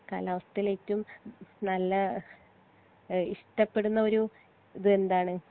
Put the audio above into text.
കാലാവസ്ഥേൽ ഏറ്റോം നല്ല ഇത് ഇഷ്പെട്ടടുന്ന ഒരു ഇത് എന്താണ്